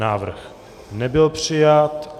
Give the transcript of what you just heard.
Návrh nebyl přijat.